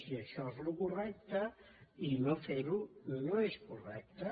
i això és el correcte i no fer·ho no és correcte